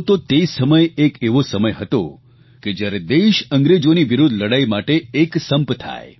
આમ જુઓ તો તે સમય એક એવો સમય હતો કે જ્યારે દેશ અંગ્રેજોની વિરૂદ્ધ લડાઇ માટે એક સંપ થાય